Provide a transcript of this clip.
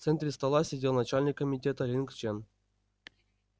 в центре стола сидел начальник комитета линг чен